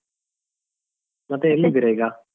ಮತ್ತೆ ಎಲ್ಲಿದ್ದೀರಾ ಈಗ?